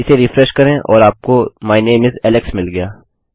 इसे रिफ्रेश करें और आपको माय नामे इस एलेक्स मिल गया